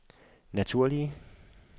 naturlige